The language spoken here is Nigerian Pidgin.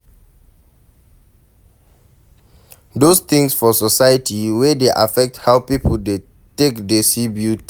Those things for society wey dey affect how pipo take dey see beauty